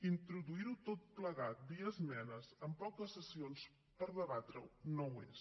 introduir ho tot plegat via esmenes amb poques sessions per debatre ho no ho és